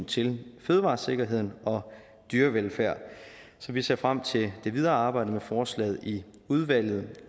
til fødevaresikkerheden og dyrevelfærden så vi ser frem til det videre arbejde med forslaget i udvalget